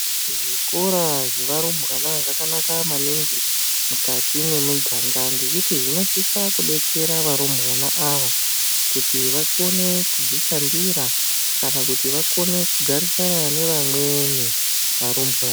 Zvikora zvevarumbwana zvakanaka maningi mukati mwemiganga. Ngekuti zvinosisa kubetsera varumbwana ava kuti vakone kudzishandira kana kuti vakone kugarisana nevamweni varumbwana.